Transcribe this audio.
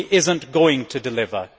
He is not going to deliver.